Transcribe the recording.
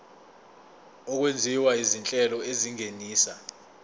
okwenziwa izinhlelo ezingenisa